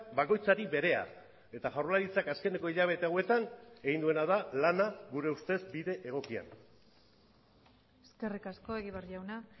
bakoitzari berea eta jaurlaritzak azkeneko hilabete hauetan egin duena da lana gure ustez bide egokian eskerrik asko egibar jauna